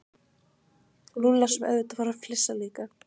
Lúlla sem auðvitað fór að flissa líka.